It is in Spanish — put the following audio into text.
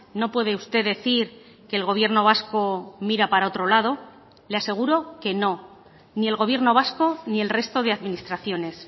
no puede usted decir que el gobierno vasco mira para otro lado le aseguro que no ni el gobierno vasco ni el resto de administraciones